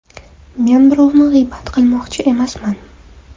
Men birovni g‘iybat qilmoqchi emasman.